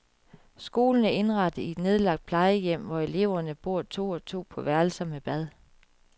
Skolen er indrettet i et nedlagt plejehjem, hvor eleverne bor to og to på værelser med bad.